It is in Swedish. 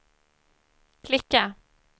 klicka